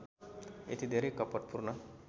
यति धेरै कपटपूर्ण